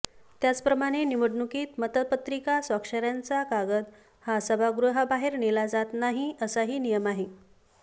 त्याचप्रमाणे निवडणुकीत मतपत्रिका स्वाक्षऱ्यांचा कागद हा सभागृहाबाहेर नेला जात नाही असाही नियम आहे